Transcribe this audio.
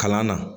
Kalan na